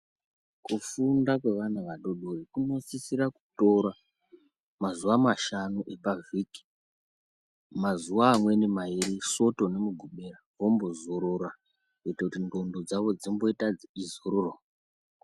Kufunda kwevana adoko kunosisa kutora mazuva mashanu pavhiki. Mazuwa amweni mairi soto nemugubera vombozorora kuitira kuti ndxondo dzavo dzizororewo.